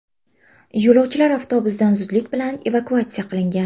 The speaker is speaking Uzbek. Yo‘lovchilar avtobusdan zudlik bilan evakuatsiya qilingan.